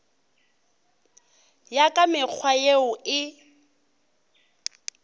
ya ka mekgwa yeo e